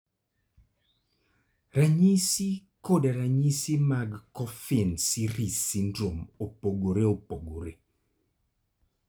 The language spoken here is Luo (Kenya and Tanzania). Ranyisi koda ranyisi mag Coffin Siris syndrome opogore opogore.